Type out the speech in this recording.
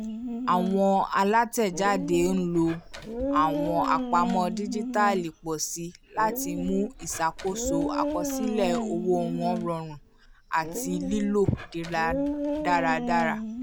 àwọn alátẹ̀jáde ń lò àwọn àpamọ́ díjítàlì pọ̀ síi láti mú iṣakoso àkọsílẹ̀ owó wọn rọrùn àti lílò dáradára